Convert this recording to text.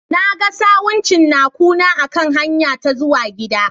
Na ga sawun cinnakuna a kan hanyara ta zuwa gida.